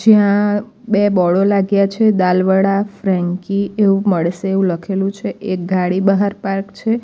ત્યાં બે બોડો લાગ્યા છે દાલવડા ફ્રેન્કી એવું મળસે એવું લખેલું છે એક ગાડી બહાર પાર્ક છે.